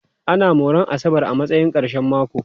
Ana moran asabar a matsayin ƙarshen mako.